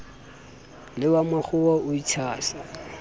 le wa makgowa o itshasa